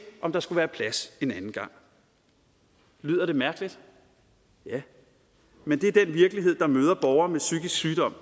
om der skulle være plads lyder det mærkeligt ja men det er den virkelighed borgere med psykisk sygdom